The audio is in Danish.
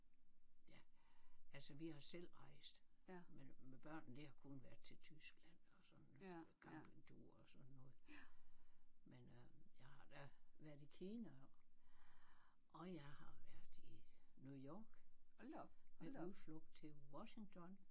Ja altså vi har selv rejst men med børnene det har kun været til Tyskland og sådan nogle campingture og sådan noget men øh jeg har da været i Kina og jeg har været i New York med udflugt til Washington